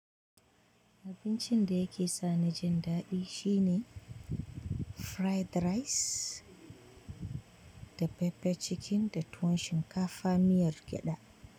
Abincin da yake sani jin daɗi shine fried rice da pepper chicken da tuwon shinkafa miyar gyaɗa.